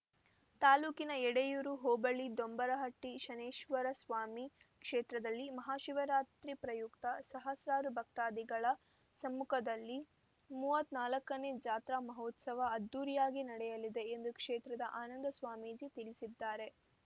ತಾಲ್ಲೂಕಿನ ಎಡೆಯೂರು ಹೋಬಳಿ ದೊಂಬರಹಟ್ಟಿ ಶನೇಶ್ವರಸ್ವಾಮಿ ಕ್ಷೇತ್ರದಲ್ಲಿ ಮಹಾಶಿವರಾತ್ರಿ ಪ್ರಯುಕ್ತ ಸಹಸ್ರಾರು ಭಕ್ತಾದಿಗಳ ಸಮ್ಮುಖದಲ್ಲಿ ಮೂವತ್ತ್ ನಾಲ್ಕನೇ ಜಾತ್ರಾ ಮಹೋತ್ಸವ ಅದ್ದೂರಿಯಾಗಿ ನಡೆಯಲಿದೆ ಎಂದು ಕ್ಷೇತ್ರದ ಆನಂದಸ್ವಾಮೀಜಿ ತಿಳಿಸಿದ್ದಾರೆ